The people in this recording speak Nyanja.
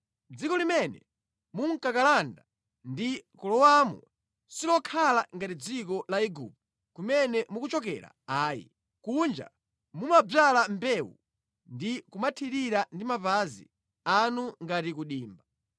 Dziko limene mukukalanda ndi kulowamo silokhala ngati dziko la ku Igupto kumene mukuchokera ayi, kuja mumadzala mbewu ndi kumathirira ndi mapazi anu ngati ku dimba.